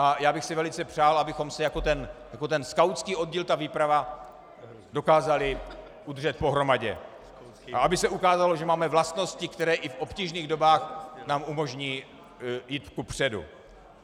A já bych si velice přál, abychom se jako ten skautský oddíl, ta výprava, dokázali udržet pohromadě a aby se ukázalo, že máme vlastnosti, které i v obtížných dobách nám umožní jít kupředu.